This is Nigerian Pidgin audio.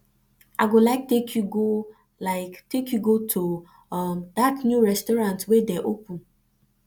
i go like take go like take you to um that new restaurant wey dey open